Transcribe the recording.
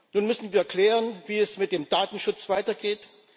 Nun müssen wir klären, wie es mit dem Datenschutz weitergeht.